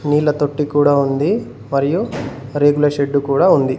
నీళ్ళ తొట్టి కూడా ఉంది మరియు రేకుల షెడ్డు కూడా ఉంది.